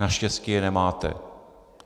Naštěstí je nemáte.